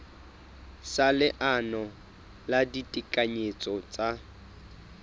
sa leano la ditekanyetso tsa